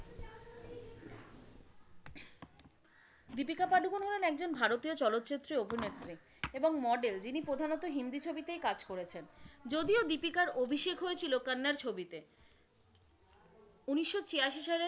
দীপিকা পাড়ুকন হলেন একজন ভারতীয় চলচ্চিত্রের অভিনেত্রী এবং model যিনি প্রধানত হিন্দি ছবিতেই কাজ করেছেন, যদিও দীপিকার অভিষেক হয়েছিলো কন্নড় ছবিতে। উনিশশো ছিয়াশি সালের,